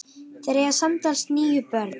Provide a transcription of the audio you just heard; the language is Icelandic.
Þeir eiga samtals níu börn.